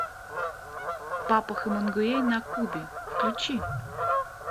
папа хемингуэй на кубе включи